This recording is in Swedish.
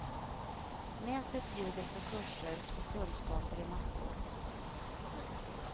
Nätet bjuder på kurser och kunskaper i massor.